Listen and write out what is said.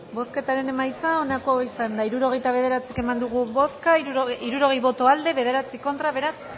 bozketaren emaitza onako izan da hirurogeita bederatzi eman dugu bozka hirurogei boto aldekoa nueve contra beraz